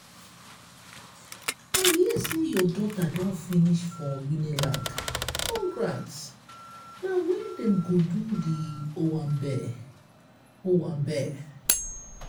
i hear sey your daughter don finish for unilag—congrats! na wen dem go do di owambe? owambe?